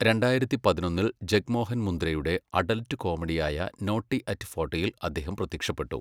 രണ്ടായിരത്തി പതിനൊന്നിൽ ജഗ്മോഹൻ മുന്ദ്രയുടെ അഡൽറ്റ് കോമഡിയായ നോട്ടി അറ്റ് ഫോട്ടിയിൽ അദ്ദേഹം പ്രത്യക്ഷപ്പെട്ടു.